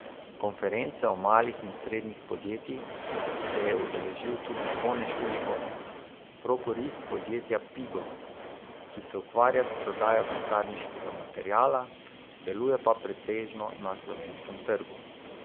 Konference o malih in srednjih podjetjih se je udeležil tudi Zvone Šuligoj, prokurist podjetja Pigo, ki se ukvarja s prodajo pisarniškega materiala, deluje pa pretežno na slovenskem trgu.